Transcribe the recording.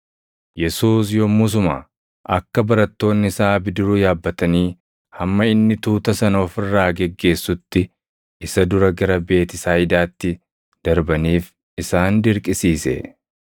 Yesuus yommusuma akka barattoonni isaa bidiruu yaabbatanii hamma inni tuuta sana of irraa geggeessutti isa dura gara Beetisayidaatti darbaniif isaan dirqisiise.